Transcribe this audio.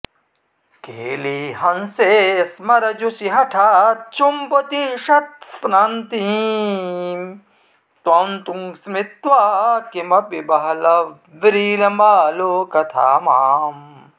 केलीहंसे स्मरजुषि हठाच्चुम्बतीषत्स्तनन्तीं त्वं तु स्मृत्वा किमपि बहलव्रीलमालोकथा माम्